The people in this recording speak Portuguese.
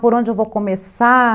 Por onde eu vou começar?